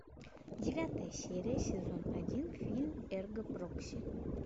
девятая серия сезон один фильм эрго прокси